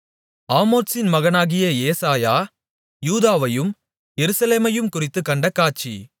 ஆமோத்சின் மகனாகிய ஏசாயா யூதாவையும் எருசலேமையும்குறித்துக் கண்ட காட்சி